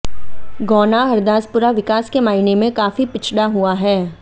गौना हरदासपुरा विकास के मायने में काफी पिछड़ा हुआ है